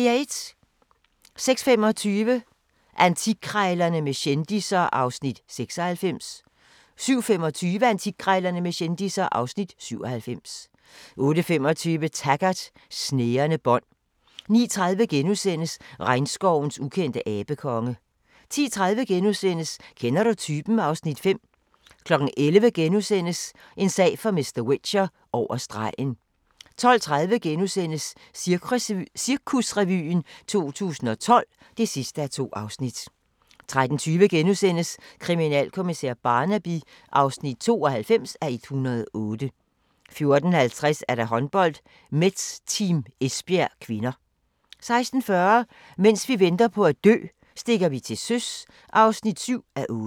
06:25: Antikkrejlerne med kendisser (Afs. 96) 07:25: Antikkrejlerne med kendisser (Afs. 97) 08:25: Taggart: Snærende bånd 09:30: Regnskovens ukendte abekonge * 10:30: Kender du typen? (Afs. 5)* 11:00: En sag for mr. Whicher: Over stregen * 12:30: Cirkusrevyen 2012 (2:2)* 13:20: Kriminalkommissær Barnaby (92:108)* 14:50: Håndbold: Metz-Team Esbjerg (k) 16:40: Mens vi venter på at dø -stikker vi til søs (7:8)